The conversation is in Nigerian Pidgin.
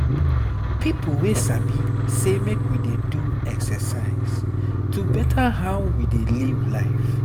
people wey sabi say make we dey do exercise to better how we dey live life.